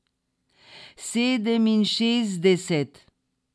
Sedeminšestdeset.